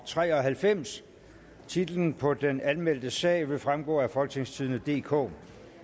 tre og halvfems titlen på den anmeldte sag vil fremgå af folketingstidende DK